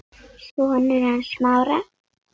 Sonur hans Smára.